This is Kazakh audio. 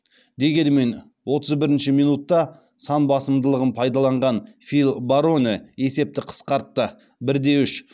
дегенмен отыз бірінші минутта сан басымдылығын пайдаланған фил бароне есепті қысқартты бірде үш